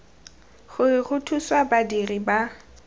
gore go thusiwe badiri ba